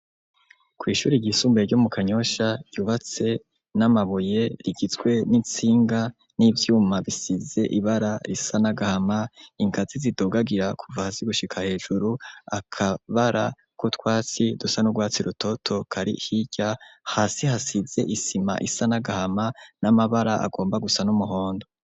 Kwishure ryisumbuye ryo mu kanyosha ryubatse namabuye ,rigizwe nintsinga ,nivyuma bisize ibara risa nagahama ,ingazi zidugagira kuva hasi gushika hejuru ,akabara kutwatsi dusa nugwatsi rutoto kari hirya hasi hasize i sima isa nagahama namabara agomba gusa n’umuhondo.